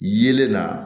Yelen na